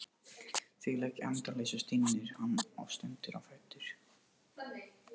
Þvílík endaleysa, stynur hann og stendur á fætur.